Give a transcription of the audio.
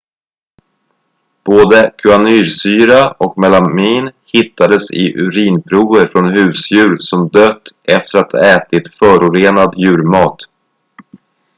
både cyanursyra och melamin hittades i urinprover från husdjur som dött efter att ha ätit förorenad djurmat